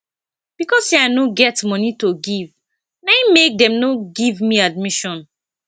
because sey i no get moni to give na im make dem no give me admission